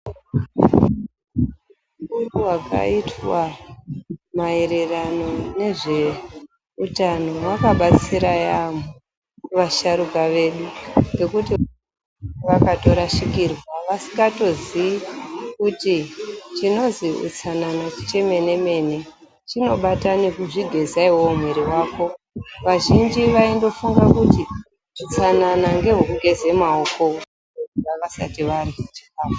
Utungu hwakaitwa maererano nezveutano wakabatsira yaampho, kuvasharuka vedu, ngekuti inga vakatorashikirwa, vasikatozii kuti, chinozwi utsanana chemene-mene, chinobata nekuzvigeza iwewe mwiri wako. Vazhinji vaindofunga kuti utsanana ngehwe kugeza maoko vasati varya chikhafu.